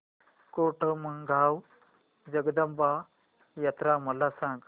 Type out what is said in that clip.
कोटमगाव जगदंबा यात्रा मला सांग